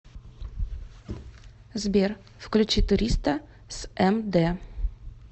сбер включи туриста с эм дэ